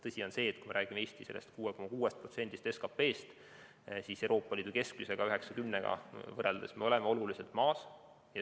Tõsi on see, et kui me räägime Eesti 6,6%-st SKP-st, siis Euroopa Liidu keskmisega võrreldes oleme me oluliselt maas.